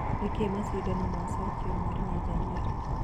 Nĩkĩ macindano macokio mweri wa Januarĩ?